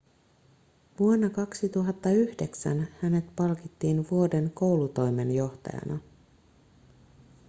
vuonna 2009 hänet palkittiin vuoden koulutoimenjohtajana